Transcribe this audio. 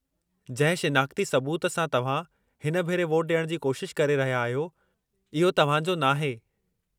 जंहिं शिनाख़्ती सुबूत सां तव्हां हिन भेरे वोट ॾियण जी कोशिश करे रहिया आहियो इहो तव्हां जो नाहे।